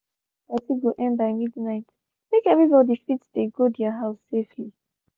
we agree say party go end by midnight make everybody fit dey go their house safely